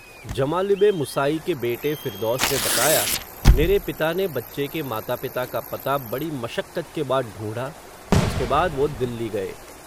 जमालिब-ए-मुसाई के बेटे फ़िरदौस ने बताया, मेरे पिता ने बच्चे के माता-पिता का पता, बड़ी मशक्कत के बाद ढूंढ़ा, उसके बाद, वो दिल्ली गए.